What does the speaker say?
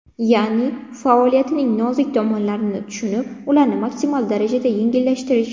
Ya’ni, faoliyatning nozik tomonlarini tushunib, ularni maksimal darajada yengillashtirish.